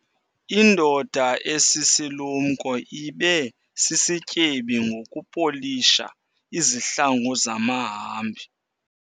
Indoda esisilumko ibe sisityebi ngokupolisha izihlangu zamahambi.